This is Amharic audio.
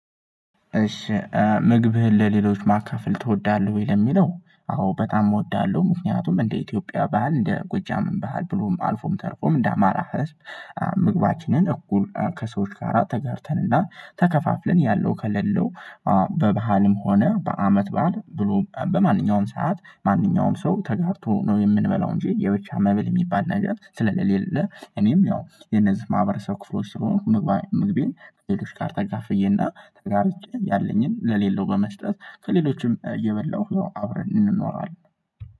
እሺ ምግብህን ለሌሎች ማካፈል ትወዳለህ ወይ? ለሚለው አዎ በጣም እወዳለሁ ምክንያቱም እንደ ኢትዮጵያ ባህል እንደ ጎጃምም ባህል ብሎም አልፎም ተርፎም እንደ አማራ ህዝብ ምግባችንን እኩል ከሰዎች ጋራ ተጋርተንና ተከፋፍለን ያለው ከሌለው በባህልም ሆነ በአመት በዓል ብሎም በማንኛውም ሰዓት ማንኛውም ሰው ተጋርቶ ነው የምንበላው እንጂ የብቻ መብል የሚባል ነገር ስለሌለ እኔም ያው የነዚህ ማህበረሰብ ክፍሎች ስለሆኑ ምግቤን ሌሎች ጋር ተካፍዬና ተጋርቼ ያለኝን ለሌለው በመስጠት ከሌሎችም የበላሁ አብረን እንኖራለን